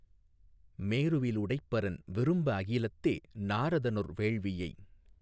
மேருவிலுடைப்பரன் விரும்ப அகிலத்தே நாரதனொர் வேள்வியை